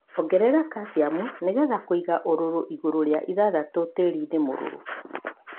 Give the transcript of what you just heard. Ongerera kaciamu nīgetha kwīiga ūrūrū iguru rīa ithathatu tīrini mūrūrū.